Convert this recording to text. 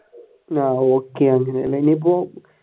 ആഹ് okay